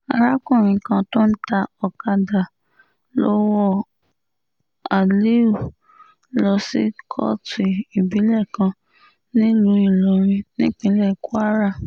arákùnrin kan tó ń ta ọ̀kadà lọ wọ aliu lọ sí kóòtù ìbílẹ̀ kan nílùú ìlọrin nípínlẹ̀ kwara